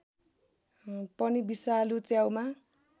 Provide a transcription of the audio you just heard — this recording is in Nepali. पनि विषालु च्याउमा